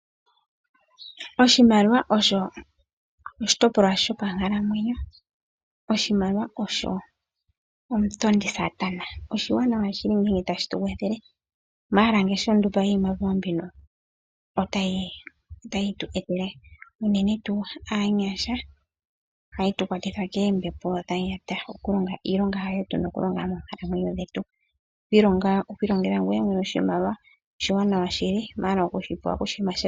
Oshimaliwa osho oshitopolwa shopa nkalamwenyo. Oshimaliwa osho omutondi saatana, oshina omauwanawa ngele tashi tukwathele, ashike ngele omuntu apwewa iimaliwa mbika ota yi tu etele, uunene tuu kaanyasha, oha tu kwatitha koombepo dhanyata. Oku ilongela oshimaliwa shoye oshiwanawa shili.